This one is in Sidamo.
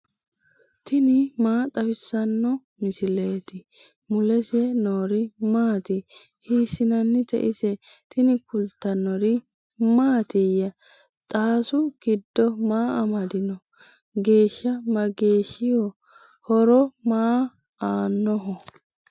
tini maa xawissanno misileeti ? mulese noori maati ? hiissinannite ise ? tini kultannori mattiya? Xaassu giddo maa amadinno? geesha mageeshshiho? horo maa aanoho?